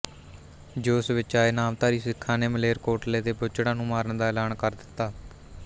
ਜੋਸ਼ ਵਿੱਚ ਆਏ ਨਾਮਧਾਰੀ ਸਿੱਖਾਂ ਨੇ ਮਾਲੇਰਕੋਟਲੇ ਦੇ ਬੁੱਚੜਾਂ ਨੂੰ ਮਾਰਨ ਦਾ ਐਲਾਨ ਕਰ ਦਿੱਤਾ